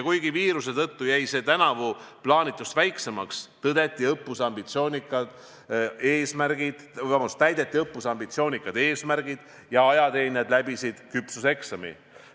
Kuigi viiruse tõttu jäi see tänavu plaanitust väiksemaks, täideti õppuse ambitsioonikad eesmärgid ja ajateenijad läbisid küpsuseksami.